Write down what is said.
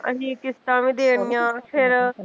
ਅਸੀਂ ਕਿਸ਼ਤਾਂ ਵੀ ਦੇਣੀਆ ਫਿਰ